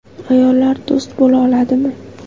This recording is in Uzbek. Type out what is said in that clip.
Ayollar do‘st bo‘la oladimi?